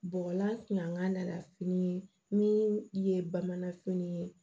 Bɔgɔlan tun'a fini min ye bamananfini ye